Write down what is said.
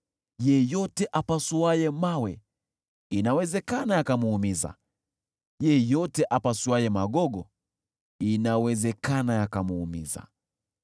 Yeyote apasuaye mawe inawezekana yakamuumiza, yeyote apasuaye magogo inawezekana yakamuumiza.